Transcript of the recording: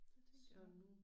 Det tænkte jeg også